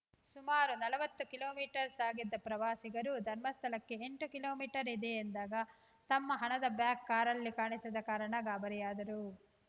ಸುಮಾರು ನಲವತ್ತು kilometre ಸಾಗಿದ್ದ ಪ್ರವಾಸಿಗರು ಧರ್ಮಸ್ಥಳಕ್ಕೆ ಎಂಟು ಕಿಲೋ ಮೀಟರ್ ಇದೆ ಎಂದಾಗ ತಮ್ಮ ಹಣದ ಬ್ಯಾಗ್‌ ಕಾರಲ್ಲಿ ಕಾಣಿಸದ ಕಾರಣ ಗಾಬರಿಯಾದರು